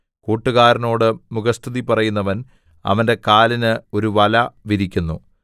കൂട്ടുകാരനോട് മുഖസ്തുതി പറയുന്നവൻ അവന്റെ കാലിന് ഒരു വല വിരിക്കുന്നു